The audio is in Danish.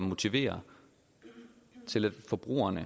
motivere forbrugerne